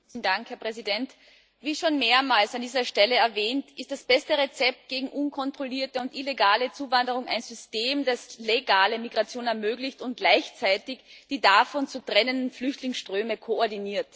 Herr Präsident! Wie schon mehrmals an dieser Stelle erwähnt, ist das beste Rezept gegen unkontrollierte und illegale Zuwanderung ein System, das legale Migration ermöglicht und gleichzeitig die davon zu trennenden Flüchtlingsströme koordiniert.